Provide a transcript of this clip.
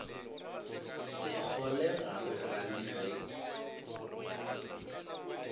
sekgole ga re gane ge